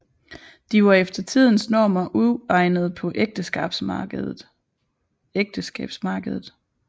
De var efter tidens normer uegnede på ægteskabsmarkedet